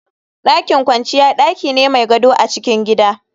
Dakin kwanciya daki ne mai gado a cikin gida